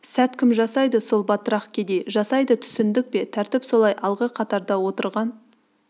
сәт кім жасайды сол батырақ-кедей жасайды түсіндік пе тәртіп солай алғы қатарда отырған